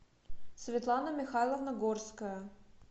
светлана михайловна горская